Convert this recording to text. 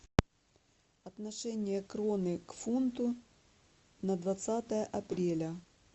отношение кроны к фунту на двадцатое апреля